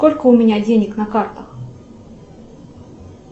сколько у меня денег на картах